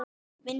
í vinnslu